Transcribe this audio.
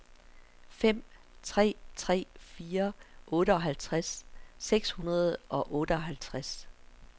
fem tre tre fire otteoghalvtreds seks hundrede og otteoghalvtreds